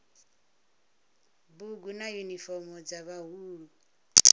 bugu na yunifomo dza vhaḓuhulu